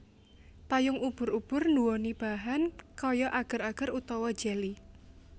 Payung ubur ubur nduweni bahan kaya ager ager utawa jeli